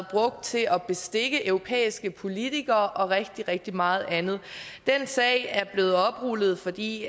brugt til at bestikke europæiske politikere og rigtig rigtig meget andet den sag er blevet oprullet fordi